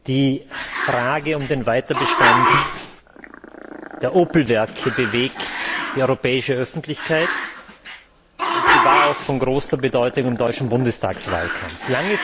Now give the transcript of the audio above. Die Frage des Weiterbestandes der Opel Werke bewegt die europäische Öffentlichkeit, und sie war auch von großer Bedeutung im deutschen Bundestagswahlkampf.